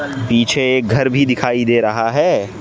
पीछे एक घर भी दिखाई दे रहा है।